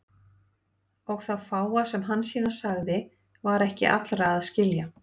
Og það fáa sem Hansína sagði var ekki allra að skilja.